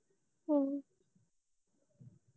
ਹਮ